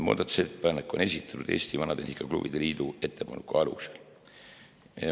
Muudatusettepanek on esitatud Eesti Vanatehnika Klubide Liidu ettepaneku alusel.